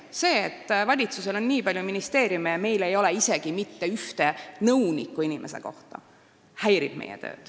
See, et valitsusel on nii palju ministeeriume ja meil ei ole isegi mitte ühte nõunikku inimese kohta, häirib meie tööd.